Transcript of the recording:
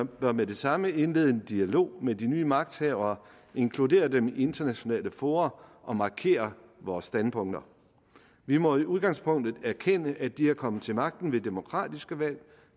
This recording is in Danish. bør med det samme indlede en dialog med de nye magthavere inkludere dem i internationale fora og markere vores standpunkter vi må i udgangspunktet erkende at de er kommet til magten ved demokratiske valg og